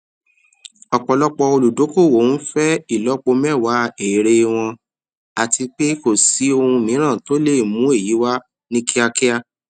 ọpọlọpọ olùdókòwò nfẹ ìlọpo mẹwa èèrè wọn àti kò sí ohun mìíràn le è mú èyí wá ní kíákíá